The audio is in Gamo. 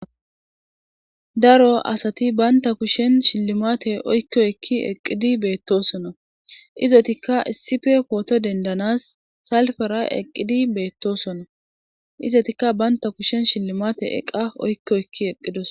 daro asati baynta kushen shillimate oykko ekki eqqidi beettosona izotikka issife pooto dendanas salfera eqqidi beettosona izotikka banta kushen shillimate eqa oykkoekki eqqidos